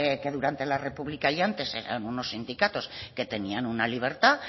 que durante la república y antes eran unos sindicatos que tenían una libertad